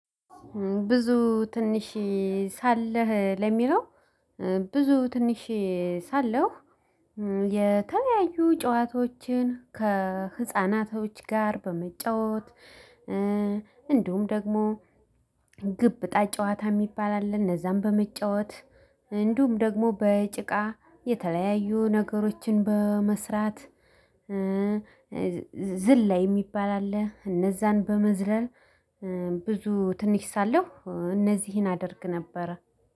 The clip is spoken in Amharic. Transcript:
ብዙ ትንሽ ሳለህ ለሚለው? ብዙ ትንሽ ሳለሁ የተለያዩ ጨዋታዎችን ከህፃናቶች ጋር በመጫወት። እንዲሁም ደግሞ ግብጣ ጨዋታ የሚባል አለ። እነዛን በመጫወት እንዲሁም ደግሞ በጭቃ የተለያዩ ነገሮችን በመስራት። ዝልላይ የሚባል አለ እነዛን በመዝለል። ብዙ ትንሽ ሳለሁ እነዚህን አደርግ ነበረ።